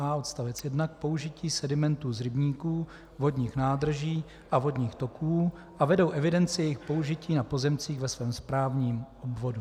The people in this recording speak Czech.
a) odst. 1 k použití sedimentu z rybníků, vodních nádrží a vodních toků a vedou evidenci jejich použití na pozemcích ve svém správním obvodu,